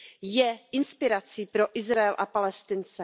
je inspirací pro Izrael a Palestince.